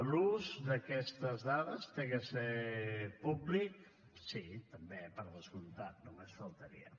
l’ús d’aquestes dades ha de ser públic sí també per descomptat només faltaria